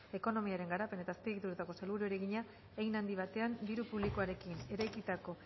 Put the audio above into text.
ekonomiaren garapen eta azpiegituretako sailburuari egina hein handi batean diru publikoarekin eraikitako